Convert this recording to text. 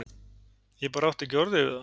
Ég bara átti ekki orð yfir það.